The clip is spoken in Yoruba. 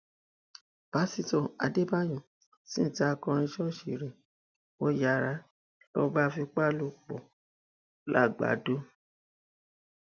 pásítọ adébáyò sì tan akọrin ṣọọṣì rẹ wò yàrá ló bá fipá bá a lò pọ làgbàdo